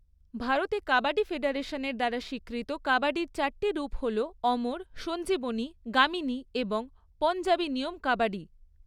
ভারতে কাবাডি ফেডারেশন দ্বারা স্বীকৃত কাবাডির চারটি রূপ হল অমর, সঞ্জীবনী, গামিনী এবং পঞ্জাবি নিয়ম কাবাডি।